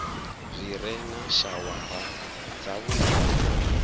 zwi re na shawara dzavhuddi